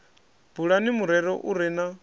bulani murero u re na